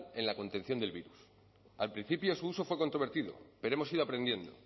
en la contención del virus al principio su uso fue controvertido pero hemos ido aprendiendo